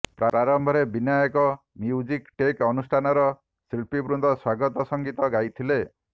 ପ୍ରାରମ୍ଭରେ Binayak music tech ଅନୁଷ୍ଠାନର ଶିଳ୍ପୀବୃନ୍ଦ ସ୍ୱାଗତ ସଙ୍ଗୀତ ଗାଇଥିଲେ